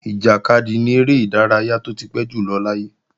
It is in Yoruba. Ìjàkadì ni eré ìdárayá tó ti pẹ́ jùlọ láyé